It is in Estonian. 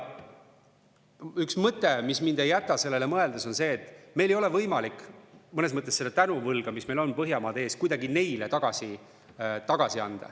Üks mõte, mis mind ei jäta sellele mõeldes, on see, et meil ei ole võimalik mõnes mõttes seda tänuvõlga, mis meil on Põhjamaade ees, kuidagi neile tagasi anda.